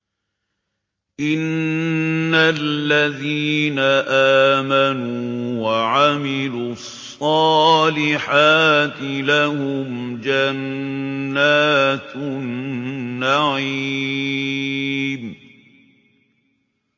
إِنَّ الَّذِينَ آمَنُوا وَعَمِلُوا الصَّالِحَاتِ لَهُمْ جَنَّاتُ النَّعِيمِ